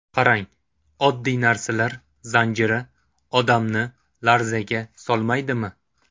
Qarang, oddiy narsalar zanjiri odamni larzaga solmaydimi?